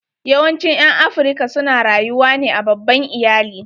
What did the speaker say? Yawancin ƴan Afrika su ne rayuwa ne a babban iyali.